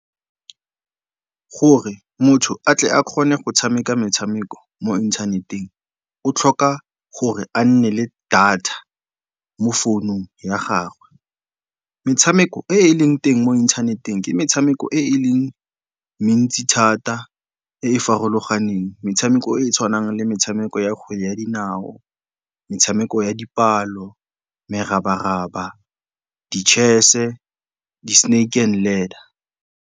Gore motho a tle a kgone go tshameka metshameko mo inthaneteng o tlhoka gore a nne le data mo founung ya gagwe. Metshameko e e leng teng mo inthaneteng ke metshameko e e leng mentsi thata e e farologaneng. Metshameko e e tshwanang le metshameko ya kgwele ya dinao, metshameko ya dipalo, merabaraba, di-chess-e, di-snake and ladder.